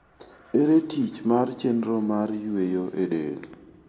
Ere tich mar chenro mar yweyo e del?